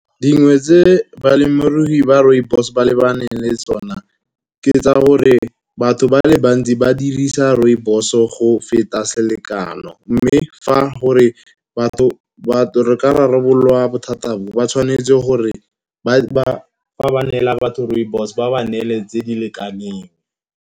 Dingwe tse balemirui ba rooibos ba lebaneng le tsone ke tsa gore batho ba le banna ba dirisa rooibos-o go feta selekano. Mme fa gore batho re ka rarabololwa bothata bo. Ba tshwanetse gore ga ba neela batho rooibos, ba ba neele tse di lekaneng.